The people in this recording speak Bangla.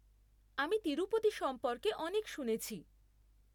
আমি তিরুপতি সম্পর্কে অনেক শুনেছি।